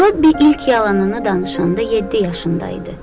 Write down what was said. Robbi ilk yalanını danışanda yeddi yaşında idi.